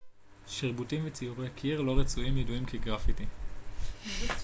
שרבוטים וציורי קיר לא רצויים ידועים כגרפיטי